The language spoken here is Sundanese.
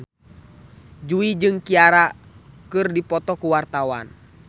Jui jeung Ciara keur dipoto ku wartawan